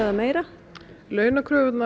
meira